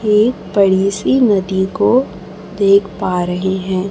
एक बड़ी सी नदी को देख पा रहे हैं।